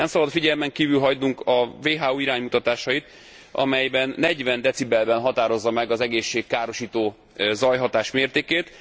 Nem szabad figyelmen kívül hagynunk a WHO iránymutatásait, amelyben 40 decibelben határozza meg az egészségkárosító zajhatás mértékét.